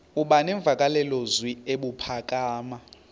aba nemvakalozwi ebuphakama